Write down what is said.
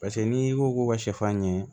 Paseke n'i ko k'u ka sɛfan ɲɛ